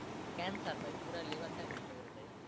Cancer ভাই পুরা liver টাই নষ্ট করে দেয়।